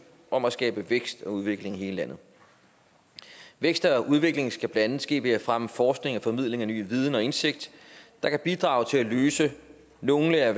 om at skabe vækst og udvikling i hele landet væksten og udviklingen skal blandt andet ske ved at fremme forskning og formidling af ny viden og indsigt der kan bidrage til at løse nogle af